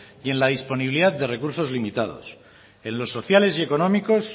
y en la disponibilidad de recursos limitados en lo sociales y económicos